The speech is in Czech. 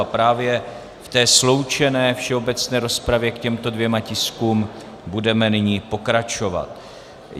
A právě v té sloučené všeobecné rozpravě k těmto dvěma tiskům budeme nyní pokračovat.